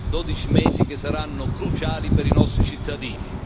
12 mesi, che saranno cruciali per i nostri cittadini.